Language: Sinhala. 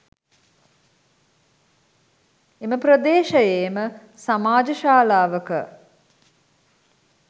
එම ප්‍රදේශයේම සමාජ ශාලාවක